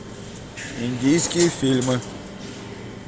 индийские фильмы